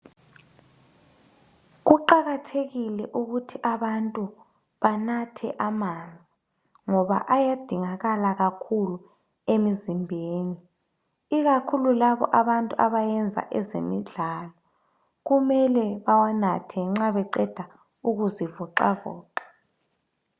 Kuqakathekile ukuthi abantu banathe amanzi ngoba ayadingakala kakhulu emzimbeni ikakhulu labo abantu abayenza ezemidlalo kumele bawanathe nxa beqeda ukuzivoxavoxa.